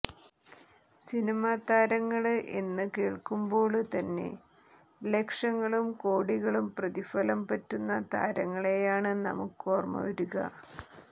സിനിമാതാരങ്ങള് എന്നു കേള്ക്കുമ്പോള് തന്നെ ലക്ഷങ്ങളും കോടികളും പ്രതിഫലം പറ്റുന്ന താരങ്ങളെയാണ് നമുക്ക് ഓര്മ വരിക